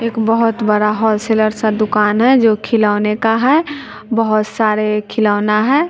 एक बहुत बड़ा होल सेलर सा दुकान है जो खिलौने का है बहुत सारे खिलौना है।